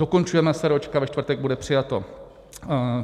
Dokončujeme eseróčka, ve čtvrtek bude přijato.